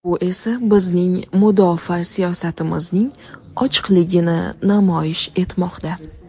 Bu esa bizning mudofaa siyosatimizning ochiqligini namoyish etmoqda.